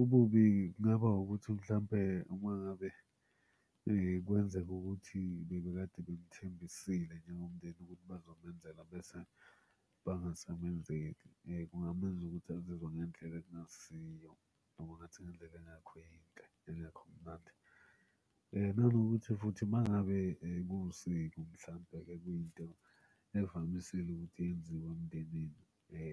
Ububi kungaba ukuthi mhlampe uma ngabe kwenzeka ukuthi bebekade bemuthembisile njengomndeni ukuthi bazomenzela bese bangasamenzeli. Kungamenza ukuthi azizwe ngendlela ekungasiyo noma ngathi ngendlela engekho yinhle, engekho mnandi. Nanokuthi futhi uma ngabe kuwusiko mhlampe kuyinto evamisile ukuthi yenziwe emndenini